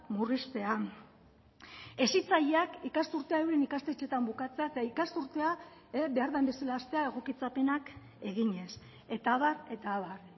murriztea hezitzaileak ikasturtea euren ikastetxetan bukatzea eta ikasturtea behar den bezala hastea egokitzapenak eginez eta abar eta abar